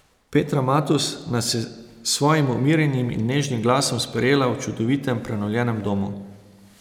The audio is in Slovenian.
Petra Matos nas je s svojim umirjenim in nežnim glasom sprejela v čudovitem prenovljenem domu.